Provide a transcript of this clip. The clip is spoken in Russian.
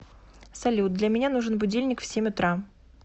салют для меня нужен будильник в семь утра